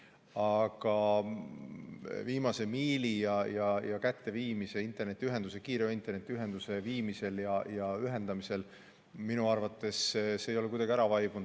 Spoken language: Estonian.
Aga viimase miili, kiire internetiühenduse kätteviimine ja ühendamine – see teema ei ole minu arvates kuidagi ära vaibunud.